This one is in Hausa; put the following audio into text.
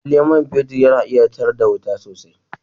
Lallai man fetur yana iya tar da wuta sosai